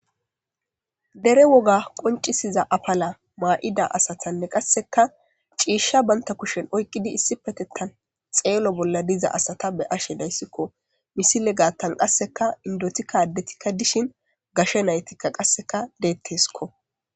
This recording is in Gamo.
dere woga qoncisiza apala maa7ida asatanne qasseka ciishsha baynta kushen oyqqidi issi petettan xeelo bolla diza asata be ashe dayssikko misile gaattan qasseka indotikka addetikka dishin gashe naytikka qasseka deetteskko